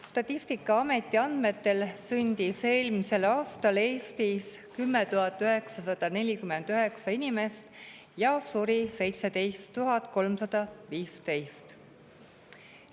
Statistikaameti andmetel sündis eelmisel aastal Eestis 10 949 inimest ja suri 17 315.